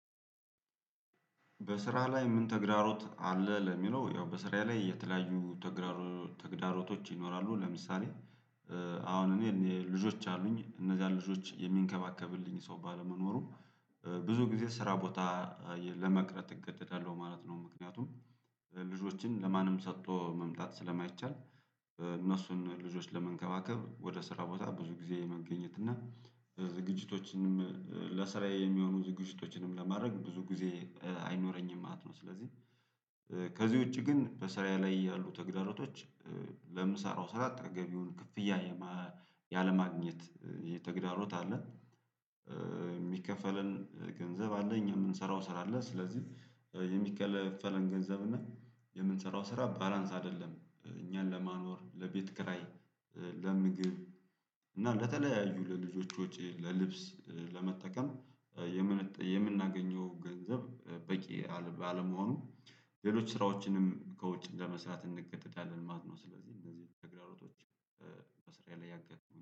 በስራ ላይ ምን ተግዳሮት አለ? ለሚለው ያው በስራ ላይ የተለያዩ ተግዳሮቶች ይኖራሉ። ለምሳሌ አሁን እኔ ልጆች አሉኝ እነዛን ልጆች የሚንከባከብልኝ ሰው ባለመኖሩ ብዙ ጊዜ ስራ ቦታ ለመቅረት እገደዳለሁ ማለት ነው። ምክንያቱም ልጆችን ለማንም ሰጥቶ መምጣት ስለማይቻል እነሱን ልጆች ለመንከባከብ ወደ ስራ ቦታ ብዙ ጊዜ የመገኘት እና ዝግጅቶችንም ለስራዬ የሚሆኑ ዝግጅቶችንም ለማድረግ ብዙ ጊዜ አይኖረኝም ማለት ነው። ስለዚህ ከዚህ ውጪ ግን በስራ ላይ ያሉ ተግዳሮቶች ለምሰራው ስራ ተገቢውን ክፍያ ያለማግኘት የተግዳሮት አለ። የሚከፈለን ገንዘብ አለ እኛ የምንሰራው ስራ አለ ስለዚህ የሚከፈለን ገንዘብ እና የምንሰራው ስራ ባላንስ አይደለም። እኛን ለማኖር ለቤት ክራይ ለምግብ እና ለተለያዩ ለልጆቹ ወጪ ለልብስ ለመጠቀም የምናገኘው ገንዘብ በቂ አለመሆኑ ሌሎች ስራዎችንም ከውጭ እንደመስራት እንገደዳለን ማለትነው። ስለዚህ እነዚህ ተግዳሮቶች በስር ያለ ያገኘው